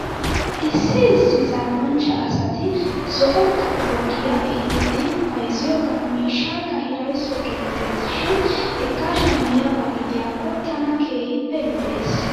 Issi issi zal'anchcha asati zo'o xaphuwaa giyaa ehidi bayzziyoogaa miishshaakka hirayso geettes shin hegaa shamiyaaba gidiyaakko tana keehippe lo'es .